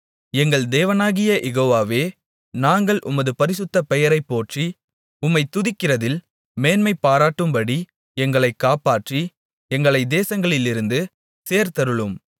எங்கள் தேவனாகிய யெகோவாவே நாங்கள் உமது பரிசுத்தப் பெயரைப் போற்றி உம்மைத் துதிக்கிறதில் மேன்மைபாராட்டும்படி எங்களைக் காப்பாற்றி எங்களைத் தேசங்களிலிருந்து சேர்த்தருளும்